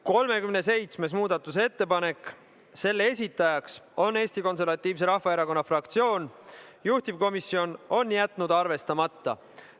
37. muudatusettepaneku on esitanud Eesti Konservatiivse Rahvaerakonna fraktsioon ja juhtivkomisjon on jätnud selle arvestamata.